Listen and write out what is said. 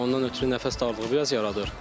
Ondan ötrü nəfəs darlığı biraz yaradır.